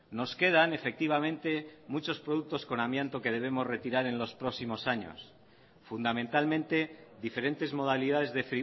nos quedan efectivamente muchos productos con amianto que debemos retirar en los próximos años fundamentalmente diferentes modalidades de